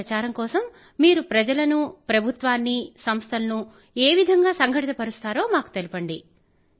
ఈ ప్రచారం కోసం మీరు ప్రజలను ప్రభుత్వాన్నీ సంస్థలను ఏ విధంగా సంఘటితపరుస్తున్నారో మాకు తెలపండి